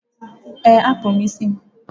Ee, akpụrụ m isi m.